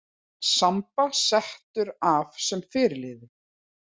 Samba settur af sem fyrirliði